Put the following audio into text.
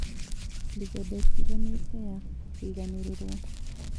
Mĩthemba ĩtiganĩte ya kũiganĩrĩrwo